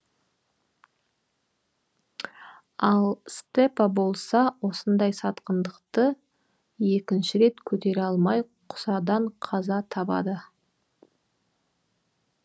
ал степа болса осындай сатқындықты екеінші рет көтере алмай құсадан қаза табады